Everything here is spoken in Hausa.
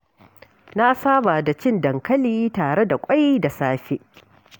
Na saba da cin dankali tare da ƙwai da safe.